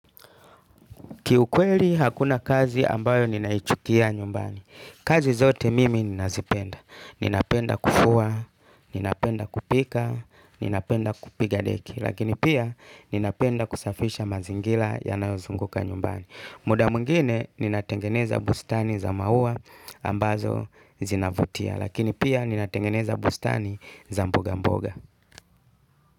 Ki ukweli hakuna kazi ambayo ninaichukia nyumbani. Kazi zote mimi ninazipenda. Ninapenda kufua, ninapenda kupika, ninapenda kupiga deki. Lakini pia ninapenda kusafisha mazingila yanayozunguka nyumbani. Muda mwingine ninatengeneza bustani za maua ambazo zinavutia. Lakini pia ninatengeneza bustani za mboga mboga.